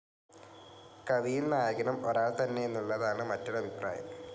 കവിയും നായകനും ഒരാൾ തന്നെയെന്നുള്ളതാണ് മറ്റൊരു അഭിപ്രായം.